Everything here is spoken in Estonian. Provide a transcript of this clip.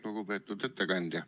Lugupeetud ettekandja!